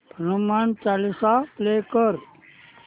Hanuman Chalisa play कर